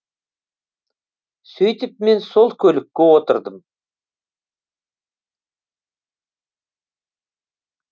сөйтіп мен сол көлікке отырдым